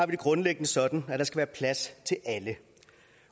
det grundlæggende sådan at der skal være plads til alle